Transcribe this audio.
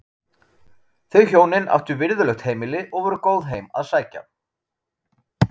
Þau hjónin áttu virðulegt heimili og voru góð heim að sækja.